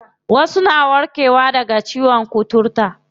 Wasu na warke wa daga ciyon kuturta.